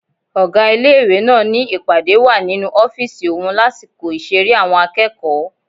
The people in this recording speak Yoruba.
Ọ̀gá ilé-ìwé náà ni ìpàdé wà nínú ọ́fìsì òun lásìkò ìṣeré àwọn akẹ́kọ̀ọ́